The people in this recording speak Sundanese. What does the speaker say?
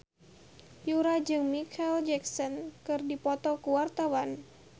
Yura jeung Micheal Jackson keur dipoto ku wartawan